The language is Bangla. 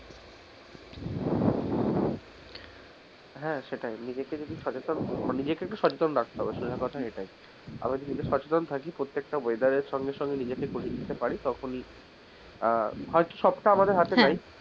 হ্যা সেইটাই নিজেকে যদি সচেতন নিজেক একটু সচেতন রাখতে হবে প্রধান কথা এইটা আমরা যদি সচেতন থাকি প্রত্যেকটা weather সঙ্গে সঙ্গে নিয়েজকে করে নিতে পারি তখনি আহ হয়তো সব তা আমাদের হাতে নেই.